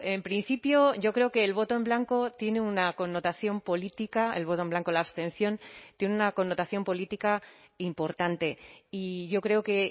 en principio yo creo que el voto en blanco tiene una connotación política el voto en blanco la abstención tiene una connotación política importante y yo creo que